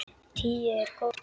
Tíu er góð tala.